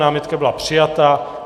Námitka byla přijata.